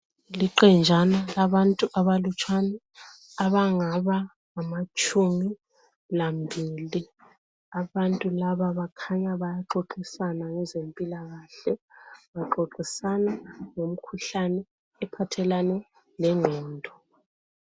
Liqenjana labantu abalutshwane abangaba ngamatshumi lambili abantu laba bakhanya bayaxoxisana labezempilakahle baxoxisana ngemikhuhlane ephathelane lengqondo.